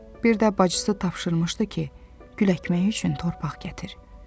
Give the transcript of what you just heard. Birdə bacısı tapşırmışdı ki, gül əkmək üçün torpaq gətir.